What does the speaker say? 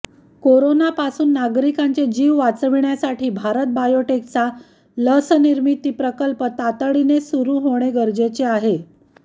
कोरोनापासून नागरिकांचे जीव वाचविण्यासाठी भारत बायोटेकचा लसनिर्मिती प्रकल्प तातडीने सुरु होणे गरजेचे आहे